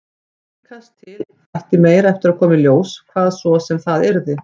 Líkast til ætti meira eftir að koma í ljós, hvað svo sem það yrði.